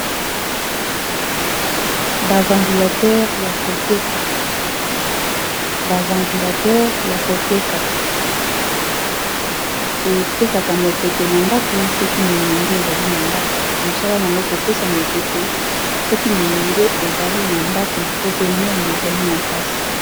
ba ventilateur ya koteka , epesaka mopepe na ndaku soki molunge ezali na ndaku mosala na yango kopesa mopepe soki molunge ezali na ndaku to pe moi ezali makasi.